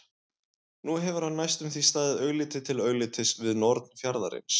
Nú hefur hann næstum því staðið augliti til auglitis við norn fjarðarins.